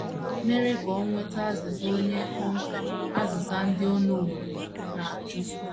mere ka o nweta azịza nye kpọmkwem azịza ndị ọ nọworo na - ajụ.